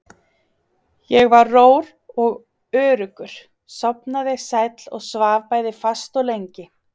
Ég var rór og öruggur, sofnaði sæll og svaf bæði fast og lengi.